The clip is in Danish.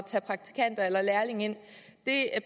tage praktikanter eller lærlinge ind det